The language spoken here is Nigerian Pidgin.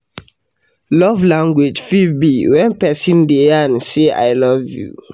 Love language fit be when persin de yarn say im love you